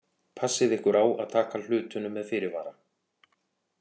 Passið ykkur á að taka hlutunum með fyrirvara.